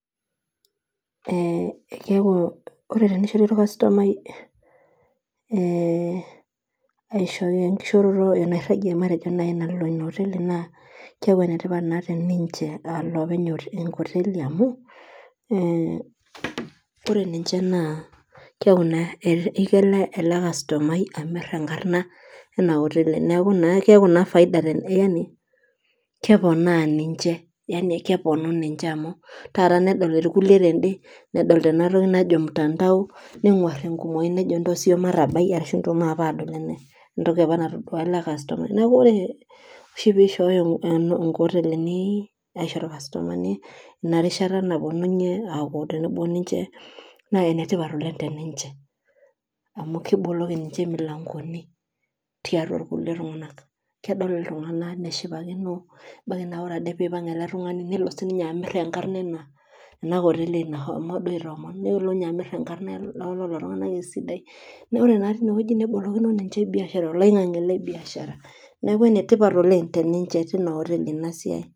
Ee keeku ore teneishori olkastomiai enkishooroto naaji matejo enairagie naaji, nalo Ina oteli, naa keeku enetipat naa te, ninche aa olopeny otii enkoteli amu, ore ninche naa keeku naa, eniko ele kastomai, amir enkarna ena oteli. neeku naa faida teninye. yani, keponaa ninche, kepuonu ninche amu taata nedoli ilikulie twde Nedol tena toki najo mutandao, nenguar enkumoi nejo ntosho siiyie matabai maape aadol ena entoki apa natoduo ela kastomai, neeku ore aohi pee ishooyo nkotelin, aisho ilkastomani Ina rishata, naapuonunye aaku tenebo ninche, naa ene tipat oleng, te ninche, amu kiboloki ninche imilankoni tiatua, kulie tunganak, kedol iltunganak neshipakino, ebaiki naa ore Ade pee ipang ele tungani nelo sii ninye amir enkarna ena koteli nashomo duo aitoomon. nelo, ninye amir enkarna elelo tunganak esidai. oee naa tine wueji nelo, nebolokino ninye oloingang'e le biashara.